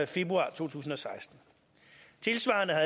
februar to tusind og seksten tilsvarende har